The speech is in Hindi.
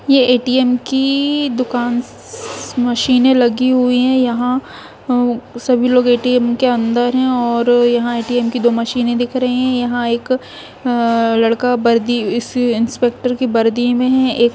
ये ए.टी.एम की दुकान स स मशीन लगी हुई है यहां सभी लोग ए.टी.एम के अंदर है और यहां ए.टी.एम की दो मशीन भी दिख रही है और यहां एक लड़का भी दिख रहा है इंस्पेक्टर की वर्दी में है।